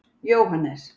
Jóhannes